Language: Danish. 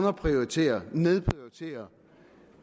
at prioritere